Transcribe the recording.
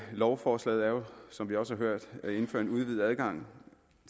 lovforslaget er jo som vi også har hørt at indføre en udvidet adgang